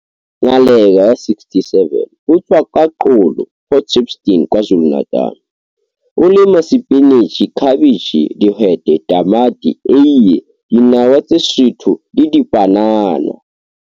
Ngaleka ya 67 o tswa KwaXolo, Port Shepstone, KwaZulu-Natal. O lema sepinitjhi, khabetjhe, dihwete, tamati, eie, dinawa tse sootho le dipanana.